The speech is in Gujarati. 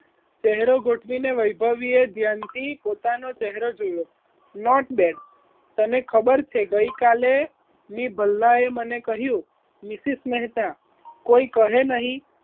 ચહેરો ગોઠવીને વૈભવીએ ધ્યાનથી પોતાનો ચહેરો જોયો not bed તને ખબર છે ગઈકાલે મેં ભલ્લા એ મને કહ્યું મિસિસ મહેતા કોઈ કહે નહીં